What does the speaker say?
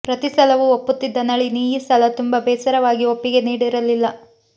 ಪ್ರತಿಸಲವೂ ಒಪ್ಪುತ್ತಿದ್ದ ನಳಿನಿ ಈ ಸಲ ತುಂಬಾ ಬೇಸರವಾಗಿ ಒಪ್ಪಿಗೆ ನೀಡಿರಲಿಲ್ಲ